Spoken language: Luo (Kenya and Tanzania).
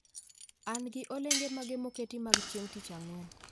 An gi olenge mage moketi mag chieng tich ang'wen